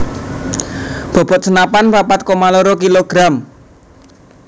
Bobot senapan papat koma loro kilogram